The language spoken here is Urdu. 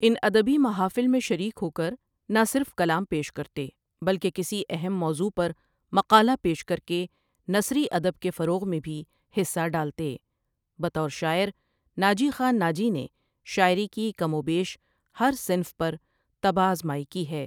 ان ادبی محافل میں شریک ہوکر نہ صرف کلام پیش کرتے بلکہ کسی اہم موضوغ پر مقالہ پیش کرکے نثری ادب کے فروع میں بھی حصہ ڈالتے بطور شاعر ناجی خان ناجی نے شاعری کی کم وبیش ہر صنف پر طبع ازمائ کی ہے ۔